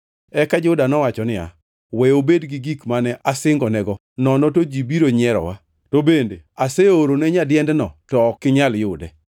Eka Juda nowacho niya, “We obed gi gik mane asingonego, nono to ji biro nyierowa. To bende aseorone nyadiendno, to ok inyal yude.”